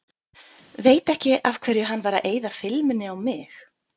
Veit ekki af hverju hann var að eyða filmunni á mig.